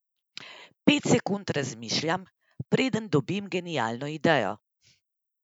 Pet sekund razmišljam, preden dobim genialno idejo.